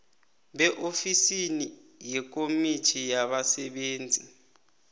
beofisi yekomitjhini yabasebenzi